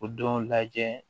O denw lajɛ